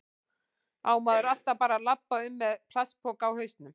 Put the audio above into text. Á maður alltaf bara að labba um með plastpoka á hausnum?